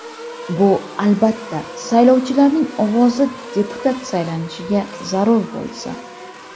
Bu, albatta, saylovchilarning ovozi deputat saylanishiga zarur bo‘lsa.